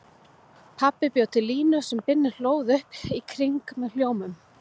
Pabbi bjó til línu sem Binni hlóð upp í kringum með hljómum.